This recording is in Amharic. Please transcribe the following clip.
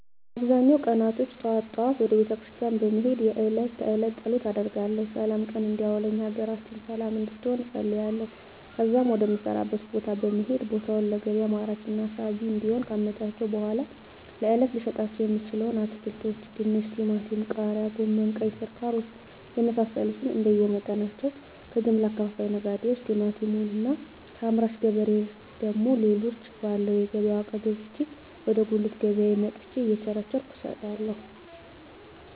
በአብዛኛው ቀናቶች ጠዋት ጠዋት ወደ ቤተክርስቲያን በመሄድ የእለት ተእለት ፀሎት አደርጋለሁ ስላም ቀን እንዲያውለኝ ሀገራችንን ሰለም እንድትሆን እፀልያለሁ ከዚያም ወደ ምሰራበት ቦታ በመሄድ ቦታውን ለገቢያ ማራኪና ሳቢ እንዲሆን ካመቻቸሁ በኃላ ለእለት ልሸጣቸው የምችለዉን አትክልቶች ድንች ቲማቲም ቃሪያ ጎመን ቀይስር ካሮት የመሳሰሉትንእንደየ መጠናቸው ከጀምላ አከፋፋይ ነጋዴዎች ቲማቲሙን እና ከአምራች ገበሬ ደግሞ ሌሎችን ባለው የገቢያ ዋጋ ገዝቼ ወደ ጉልት ገቢያየ መጥቸ እየቸረቸርኩ እሸጣለሁ